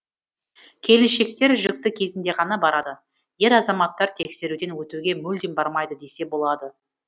келіншектер жүкті кезінде ғана барады ер азаматтар тексеруден өтуге мүлдем бармайды десе болады